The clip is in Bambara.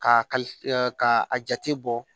K'a kali ka a jate bɔ